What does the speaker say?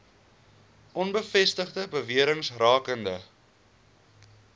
onbevestigde bewerings rakende